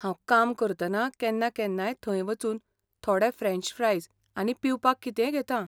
हांव काम करतना केन्ना केन्नाय थंय वचून थोडें फ्रॅन्च फ्रायज आनी पिवपाक कितेंय घेता.